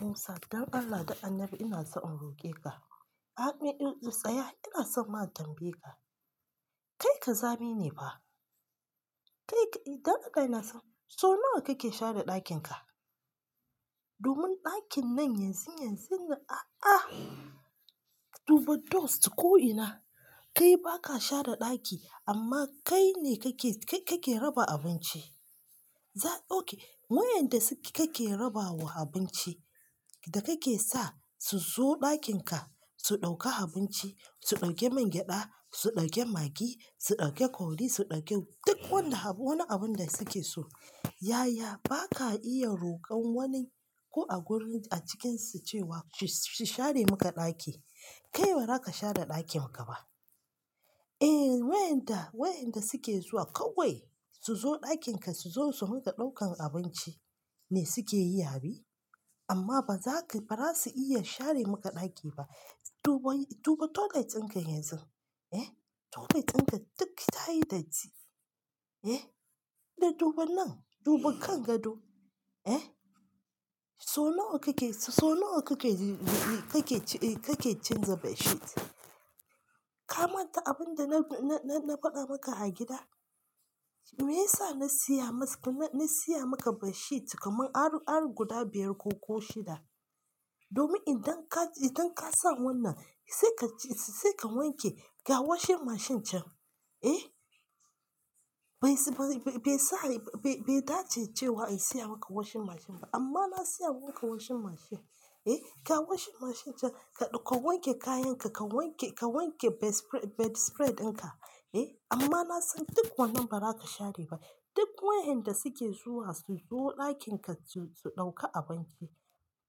Musa, don Allah da annabi inaso in roke ka. Amin ɗin tsaya ina son ma tambaye ka. Kai ka zami ne pa? Kai ka-- don Allah ina so, so nawa kake share ɗakin ka? Domin ɗakin nan yanzun yanzun na a'a, duba dust ko ina, kai baka share ɗaki amma kai ne kake, ka-kake raba abinci. Za-- okay, wayanda suke kake raba wa abinci da kake sa su zo ɗakin ka su ɗauka abinci, su ɗauke man gyada, su ɗauke Maggi, su ɗauke curry, su ɗauki duk wanda abu, wani abun da suke so. Yaya baka iya rokon wani ko a gurin a cikinsu cewa su, su share maka ɗaki. Kai bazaka share ɗakinka ba. Eh wayanda, wayanda suke zuwa kawai su zo ɗakin ka su zo su maka ɗaukan abinci ne suke yi abi? Amma bazasu iya share maka ɗaki ba. Duba, duba toilet dinka yanzun, eh, toilet dinka duk tayi datti. Eh, da duba nan, duba kan gado. Eh, so nawa kake, so nawa kake, kake, kake canza bedsheet. Ka manta abinda na, na, na faɗa maka a gida? Me yasa na siya maka, na siya maka bedsheet kamar har, har guda biyar ko, ko shida? Domin idan ka, idan ka san wannan sai ka ci, sai ka wanke ga washing mashine can. Eh, bai sa, bai, bai dace cewa in siya maka washing mashine ba amma na siya maka washing mashine. Eh, ga washing mashine can ka wanke kayan ka, ka wanke, ka wanke bed sprea-bedspread dinka. Eh, amma na san duk wannan ba za ka share ba. Duk wayanda suke zuwa su zo ɗakin ka su, su ɗauka abinci.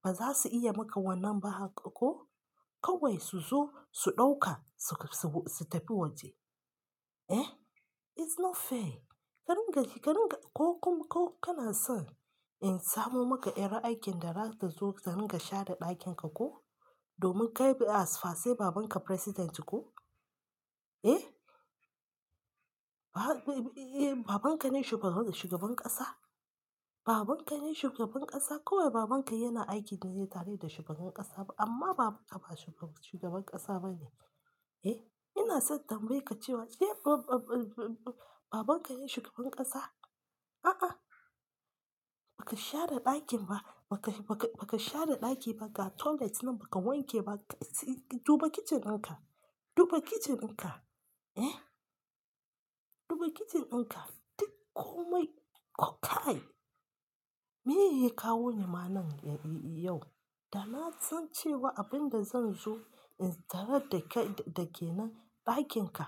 Ba za su iya maka wannan ba haka ko? Kawai su zo su ɗauka su, su, su tafi waje. Eh, it's not fair. Karin gashi, karin ga-- ko kuma ko kana son in samo maka ƴar aikin da zata zo karin ga share ɗakin ka ko? Domin kai asfase babanka president ko? Eh, ba-ba-ba, eh babanka ne shugaba, shugaban ƙasa? Babanka ne shugaban ƙasa? Kawai babanka yana aiki ne tare da shugaban ƙasa amma babanka ba shugaban ƙasa bane. Eh, ina son tambaye ka cewa eh ba-ba-ba-babanka ne shugaban ƙasa? A'a, ba ka share ɗakin ba. Ba ka, ba ka, ba ka share ɗaki ba, ga toilet nan ba ka wanke ba. Kai duba kicin ka, duba kicin ka. Eh, duba kicin ɗinka duk komai kokai. Me yeya kawonima nan yau? Da na san cewa abin da zan zo in tare da kai da ke nan ɗakin ka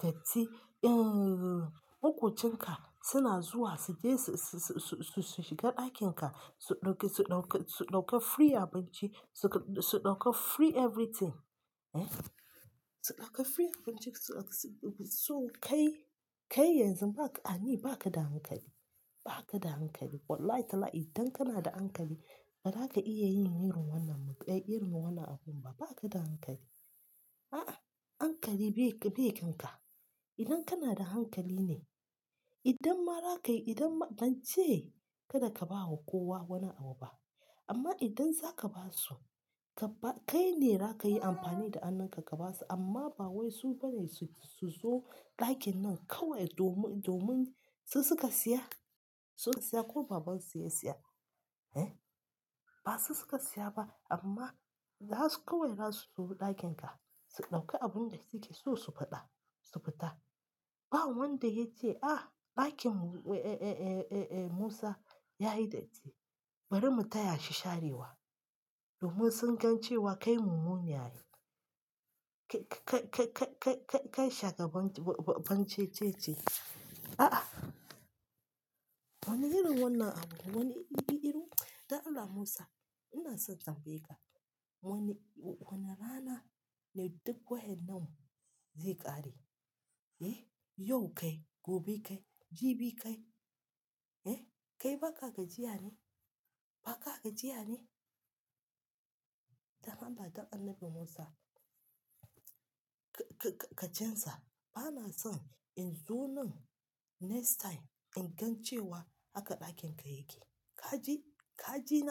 da ti, eh, makocin ka suna zuwa su je su, su, su, su shiga ɗakin ka su ɗauki, su ɗauki, su ɗauka free abinci su, su ɗauka free everything. Eh, su ɗauka free abincin su zo kai, kai yanzu ba ka, a ni ba ka da hankali. Ba ka da hankali. Wallahi talahi idan kana da hankali ba za ka iya yin irin wannan muƙai, irin wannan abun ba. Ba ka da hankali. A'ah. Hankali be kanka idan kanada hankaline idan ma zakayi bance karka bama kowa wani abu ba. Amma idan za ka ba su, ka ba, kai ne za ka yi amfani da hannun ka ka ba su amma ba wai su bane su, su zo ɗakin nan kawai domin, domin su suka siya? Sun siya ko baban su ya siya? Eh, ba su suka siya ba amma za su kawai za su zo ɗakin ka su ɗauki abun da suke so su faɗa, su fita. Ba wanda yake ce "ah ɗakin mu, eh, eh, eh, eh, Musa yayi datti bari mu taya shi sharewa domin sun gan cewa kai mumune ai. Kai, kai, kai, kai, kai shagaban cececiye. A'a, wani irin wannan abun, wani irin iru. Don Allah Musa ina son tambaye ka. Wani, wani rana ne duk wa'yannan zai ƙare? Eh, yau kai, gobe kai, jibi kai? Eh, kai baka gajiya ne? Baka gajiya ne? Dan Allah, don annabi Musa ka, ka, ka canza. Bana son in zo nan next time in gan cewa haka ɗakin ka yake. Ka ji? Ka ji na.